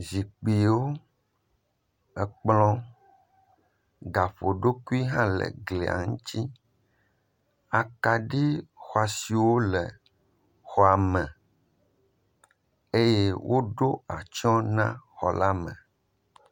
Zikpuiwo. Ekplɔ gaƒoɖokui hã le eglia ŋuti. Akaɖi xɔasi wò le exɔa me eye woɖo atsyɔe na xɔ la me.